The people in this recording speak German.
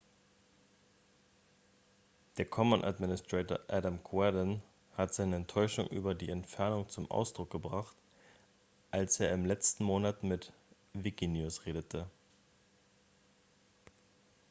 der commons-administrator adam cuerden hat seine enttäuschung über die entfernungen zum ausdruck gebracht als er im letzten monat mit wikinews redete